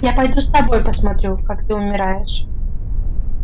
я пойду с тобой посмотрю как ты умираешь